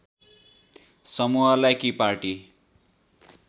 समूहलाई कि पार्टी